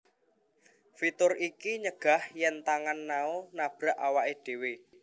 Fitur iki nyegah yen tangan Nao nabrak awake dewe